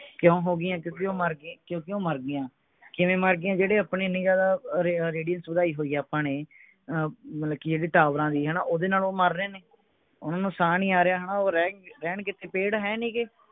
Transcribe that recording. ਕਿਉਂ ਹੋ ਗਿਆ ਕਿਓਂਕਿ ਉਹ ਮਰ ਗਈ ਕਿਓਂਕਿ ਉਹ ਮਰ ਗਈਆਂ ਕਿਵੇਂ ਮਰ ਗਿਆ ਜਿਹੜੇ ਆਪਣੇ ਅਹ radius ਵਧਾਈ ਹੋਈ ਹੈ ਆਪਾਂ ਨੇ ਅਹ ਮਤਲਬ ਕਿ ਇਹਦੀ ਟਾਵਰਾਂ ਦੀ ਹਣਾ ਓਹਦੇ ਨਾਲ ਉਹ ਮਰ ਰਹੇ ਨੇ ਉਹਨਾਂ ਨੂੰ ਸਾਹ ਨਹੀਂ ਆ ਰਿਹਾ ਹਣਾ ਉਹ ਰਹਿਣ ਰਹਿਣ ਕਿਥੇ ਪੇੜ ਹੈ ਨਹੀਂ ਗੇ